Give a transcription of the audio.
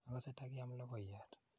Akase ta kiam logoyat.